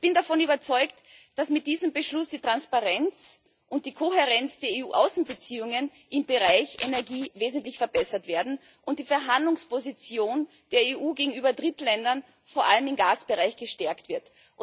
Ich bin davon überzeugt, dass mit diesem Beschluss die Transparenz und die Kohärenz der EU Außenbeziehungen im Bereich Energie wesentlich verbessert werden und die Verhandlungsposition der EU gegenüber Drittländern vor allem im Gasbereich gestärkt wird.